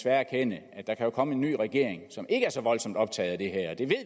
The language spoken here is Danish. erkende at der kan komme en ny regering som ikke er så voldsomt optaget af